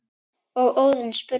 og Óðinn spurði